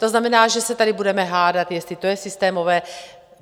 To znamená, že se tady budeme hádat, jestli to je systémové.